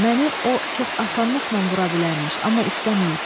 Məni o çox asanlıqla vura bilərmiş, amma istəməyib.